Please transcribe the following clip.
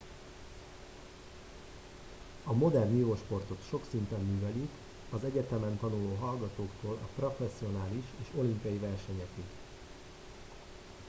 a modern vívósportot sok szinten művelik az egyetemen tanuló hallgatóktól a professzionális és olimpiai versenyekig